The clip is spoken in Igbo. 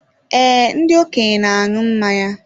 Ee, ndị okenye na aṅụ mmanya